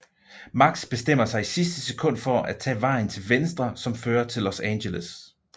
Max bestemmer sig i sidste sekund for at tage vejen til venstre som fører til Los Angeles